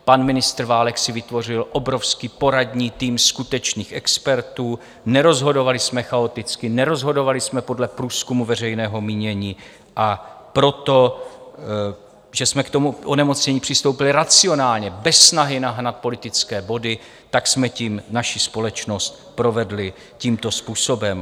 Pan ministr Válek si vytvořil obrovský poradní tým skutečných expertů, nerozhodovali jsme chaoticky, nerozhodovali jsme podle průzkumu veřejného mínění, a proto, že jsme k tomu onemocnění přistoupili racionálně, bez snahy nahnat politické body, tak jsme tím naši společnost provedli tímto způsobem.